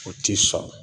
O ti sɔn